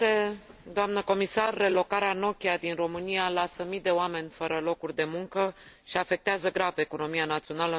Relocarea Nokia din România lasă mii de oameni fără locuri de muncă și afectează grav economia națională într un moment dificil.